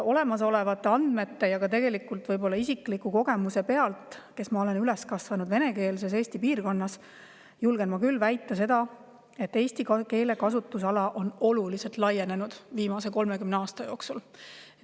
Olemasolevate andmete ja tegelikult ka isikliku kogemuse pealt – ma olen üles kasvanud Eesti venekeelses piirkonnas – julgen ma küll väita, et eesti keele kasutusala on oluliselt laienenud viimase 30 aasta jooksul.